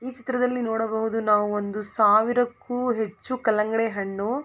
ಈ ಚಿತ್ರದಲ್ಲಿ ನೋಡಬಹುದು ನಾವು ಒಂದು ಸಾವಿರಕ್ಕೂ ಹೆಚ್ಚು ಕಲ್ಲಂಗಡಿ ಹಣ್ಣು --